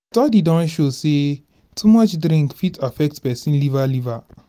study don show sey too much drink fit affect person liver liver